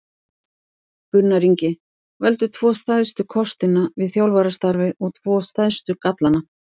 Gunnar Ingi Veldu tvo stærstu kostina við þjálfarastarfið og tvo stærstu gallana?